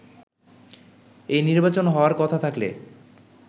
এই নির্বাচন হওয়ার কথা থাকলে